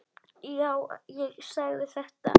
Já, ég sagði þetta.